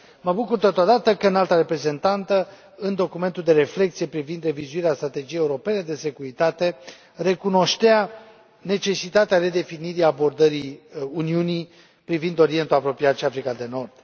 Mă bucur, totodată, că Înaltul Reprezentant, în documentul de reflecție privind revizuirea Strategiei europene de securitate, recunoștea necesitatea redefinirii abordării Uniunii privind Orientul Apropiat și Africa de Nord.